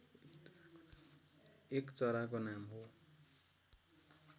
एक चराको नाम हो